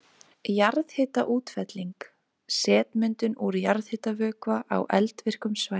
Jarðhitaútfelling- setmyndun úr jarðhitavökva á eldvirkum svæðum.